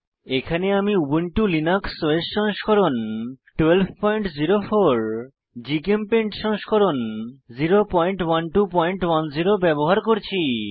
এখানে আমি Ubuntu Linux OS সংস্করণ 1204 জিচেমপেইন্ট সংস্করণ 01210 ব্যবহার করছি